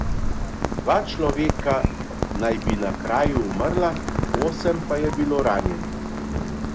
Dva človeka naj bi na kraju umrla, osem pa je bilo ranjenih.